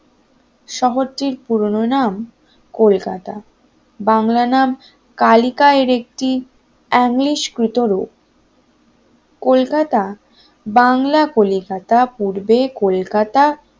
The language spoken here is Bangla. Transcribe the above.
শহরটির পুরো নাম কলকাতা বাংলা নাম কালিকায় একটি ইংলিশ কিটো লোক কলকাতা বাংলা কলিকাতা পূর্বে কলকাতা